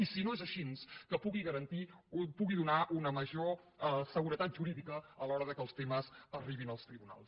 i si no és així que pugui donar una major seguretat jurídica a l’hora que els temes arribin als tribunals